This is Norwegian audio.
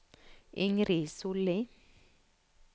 Ingrid Solli